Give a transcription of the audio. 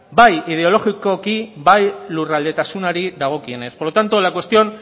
bai ideologikoko bai lurraldetasunari dagokionez por lo tanto la cuestión